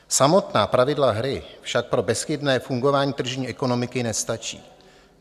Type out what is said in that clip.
Samotná pravidla hry však pro bezchybné fungování tržní ekonomiky nestačí.